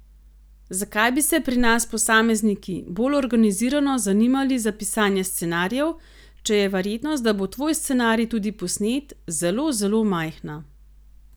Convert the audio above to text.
Zakaj bi se pri nas posamezniki bolj organizirano zanimali za pisanje scenarijev, če je verjetnost, da bo tvoj scenarij tudi posnet, zelo, zelo majhna?